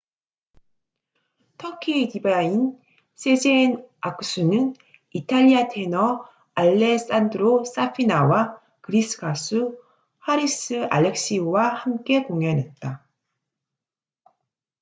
터키의 디바인 sezen aksu는 이탈리아 테너 alessandro safina와 그리스 가수 haris alexiou와 함께 공연했다